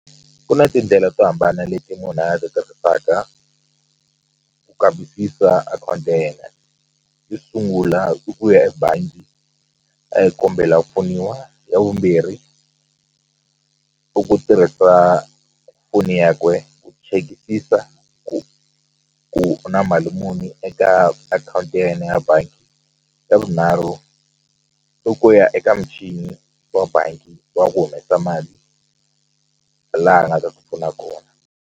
Ku na tindlela to hambana leti munhu a ti tirhisaka ku kambisisa account ya yena yo sungula i ku ya ebangi a ya kombela ku pfuniwa ya vumbirhi i ku tirhisa foni ya kwe ku chekisisa ku ku na mali muni eka akhawunti ya yena ya bangi xa vunharhu i ku ya eka muchini wa bangi wa ku humesa mali laha a nga ta ti pfuna .